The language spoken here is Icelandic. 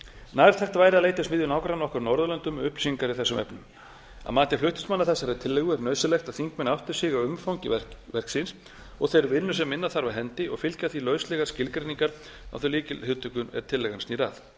nærtækt væri að leita í smiðju nágranna okkar á norðurlöndunum um upplýsingar í þessum efnum að mati flutningsmanna þessarar tillögu er nauðsynlegt að þingmenn átti sig á umfangi verksins og þeirri vinnu sem inna þarf af hendi og fylgja því lauslegar skilgreiningar á þeim lykilhugtökum er sem tillagan snýr að